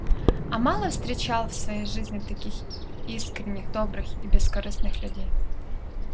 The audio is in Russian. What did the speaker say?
а мало встречал в своей жизни таких искренних добрых и бескорыстных людей